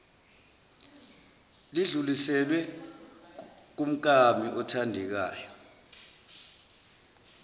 lidluliselwe kumkami othandekayo